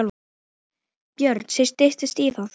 Björn: Styttist í það?